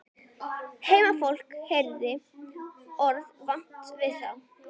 Heimafólk hafði orðið vart við þá.